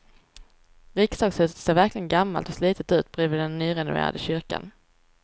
Riksdagshuset ser verkligen gammalt och slitet ut bredvid den nyrenoverade kyrkan.